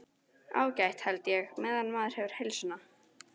Ágætt held ég. meðan maður hefur heilsuna.